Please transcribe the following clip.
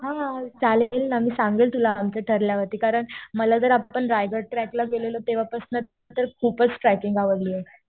हा चालेल ना. मी सांगेल तुला आमचं ठरल्यावरती . कारण मला तर आपण रायगड ट्रॅकला गेलेलो तेव्हापासनं तर खूपच ट्रेकिंग आवडलीय.